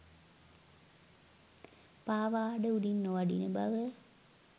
පාවාඩ උඩින් නොවඩින බව